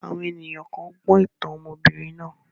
Àwọn ènìyàn kàn gbọ́ ìtàn ọmọbìnrin náà